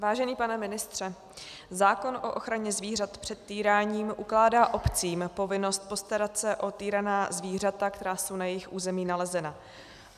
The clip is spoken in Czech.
Vážený pane ministře, zákon o ochraně zvířat před týráním ukládá obcím povinnost postarat se o týraná zvířata, která jsou na jejich území nalezena.